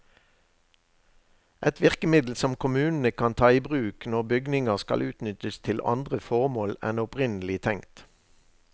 Et virkemiddel som kommunene kan ta i bruk når bygninger skal utnyttes til andre formål enn opprinnelig tenkt.